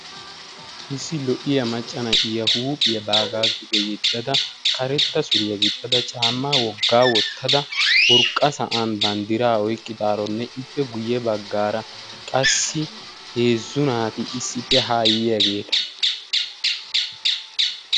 issi lo'iya geela'o na'iya ba huuphiya duge yeddada karetta suriya gixxada urqa sa'an babddiraa oyqqidaaranne ippe ya bagaara qassi heezzu naati issippe haa yiyaageeta